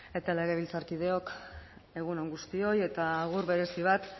legebiltzarkideok egun on guztioi eta agur berezi bat